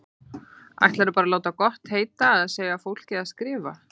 Ætlarðu bara að láta gott heita að segja fólki að skrifa!